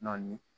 Nɔɔni